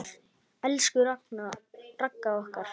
Elsku Ragga okkar.